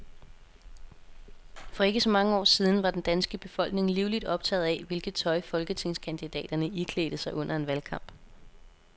For ikke så mange år siden var den danske befolkning livligt optaget af, hvilket tøj folketingskandidaterne iklædte sig under en valgkamp.